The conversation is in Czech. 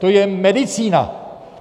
To je medicína!